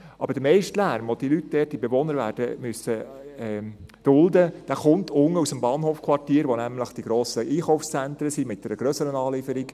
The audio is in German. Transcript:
Der meiste Lärm, den die Leute dort, die Bewohner, werden dulden müssen, kommt unten aus dem Bahnhofquartier, wo nämlich die grossen Einkaufszentren sind, mit grösserer Anlieferung.